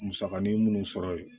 Musakanin munnu sɔrɔ ye